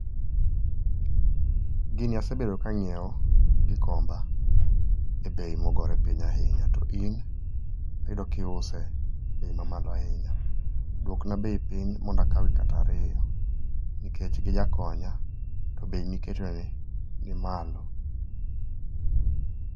Gini asebedo ka angiew Gikomba e bei mogore piny ahinya to in ayudo ka iuse bei mamalo ahinya, duokna bei piny mondo akaw kata ariyo nikech gijakonya to bei miketo ni ni malo